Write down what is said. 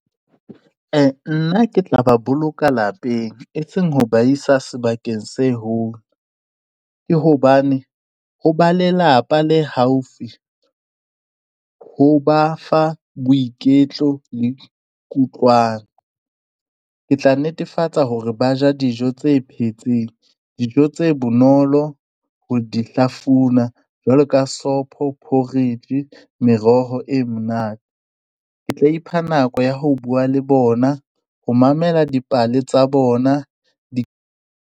Nna ke tla ba boloka lapeng, e seng ho ba isa sebakeng se home, ke hobane ho ba lelapa le haufi ho ba fa boiketlo le kutlwano ke tla netefatsa hore ba ja dijo tse phetseng dijo tse bonolo ho di hlafuna jwalo ka sopho, porridge, meroho e monate ke tla ipha nako ya ho buwa le bona ho mamela dipale tsa bona di.